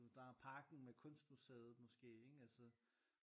Der er parken med kunstmuseet måske ikke altså